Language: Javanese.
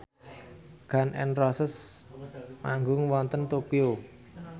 Gun n Roses manggung wonten Tokyo